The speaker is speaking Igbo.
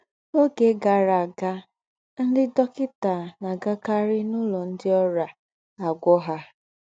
N’ọ́gè gárà àgà, ńdị́ dọ́kịtà ná-àgàkàrì n’ụlọ̀ ńdị́ ọ́rịà àgwọ́ ha.